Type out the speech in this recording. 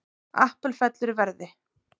Apple fellur í verði